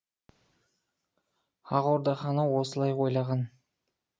ақ орда ханы осылай ойлаған